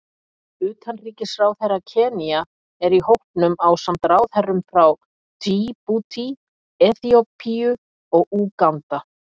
Utanríkisráðherra Kenía er í hópnum ásamt ráðherrum frá Djíbútí, Eþíópíu og Úganda.